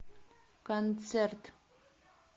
концерт